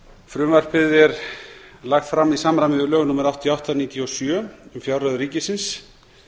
frumvarpið er lagt fram í samræmi við lög númer áttatíu og átta nítján hundruð níutíu og sjö um fjárreiður ríkisins